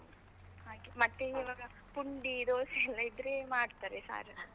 ಹಾಗೆ, ಮತ್ತೆ ಈವಾಗ ಪುಂಡಿ ದೋಸೆ ಎಲ್ಲ ಇದ್ರೆ ಮಾಡ್ತಾರೆ ಸಾರ್.